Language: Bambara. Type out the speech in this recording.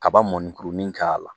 Kaba mɔnikuruni k'a la